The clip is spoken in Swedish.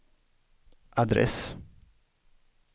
adress